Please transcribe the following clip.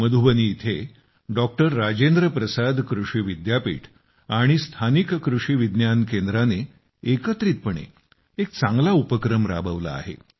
मधुबनी येथे डॉक्टर राजेंद्र प्रसाद कृषी विद्यापीठ आणि स्थानिक कृषी विज्ञान केंद्राने एकत्रितपणे एक चांगला उपक्रम राबवला आहे